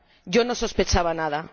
Yo no sospechaba nada.